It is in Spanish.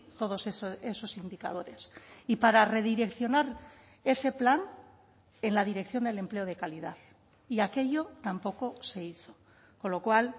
todos esos indicadores y para redireccionar ese plan en la dirección del empleo de calidad y aquello tampoco se hizo con lo cual